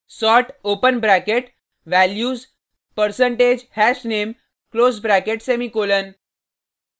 sort open bracket values percentage hashname close bracket semicolon